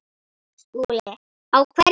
SKÚLI: Á hverju?